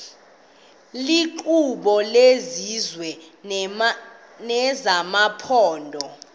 iinkqubo zesizwe nezamaphondo